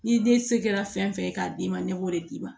N'i den se kɛra fɛn fɛn ye k'a d'i ma ne b'o de d'i ma